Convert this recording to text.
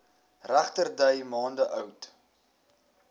regterdy maande oud